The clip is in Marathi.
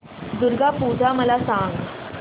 दुर्गा पूजा मला सांग